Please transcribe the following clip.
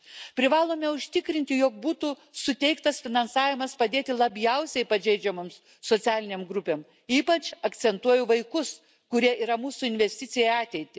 Privalome užtikrinti jog būtų suteiktas finansavimas padėtį labiausiai pateikiamos socialinėms grupėms, ypač akcentuoju vaikus, kurie yra mūsų investicija į ateitį.